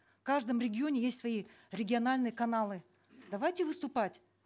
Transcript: в каждом регионе есть свои региональные каналы давайте выступать